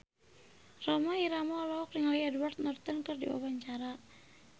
Rhoma Irama olohok ningali Edward Norton keur diwawancara